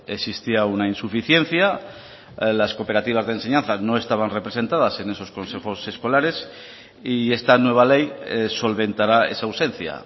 existía una insuficiencia las cooperativas de enseñanza no estaban representadas en esos consejos escolares y esta nueva ley solventará esa ausencia